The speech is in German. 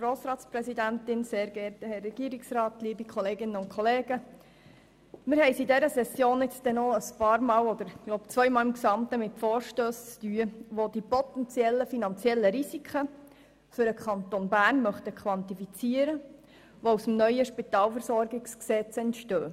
Wir haben es während dieser Session, ich glaube, gesamthaft zweimal mit Vorstössen zu tun, welche die potentiellen finanziellen Risiken, die aus dem neuen Spitalversorgungsgesetz entstehen, für den Kanton Bern quantifizieren möchten.